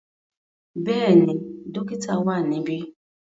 Bẹ́ẹ̀ni, dokita wa nibi.